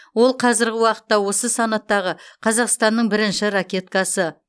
ол қазіргі уақытта осы санаттағы қазақстанның бірінші ракеткасы